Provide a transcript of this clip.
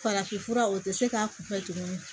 Farafinfura o tɛ se k'a kunfɛ tuguni